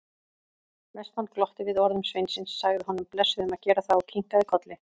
Vestmann glotti við orðum sveinsins, sagði honum blessuðum að gera það og kinkaði kolli.